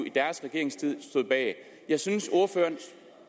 i deres regeringstid jeg synes ordføreren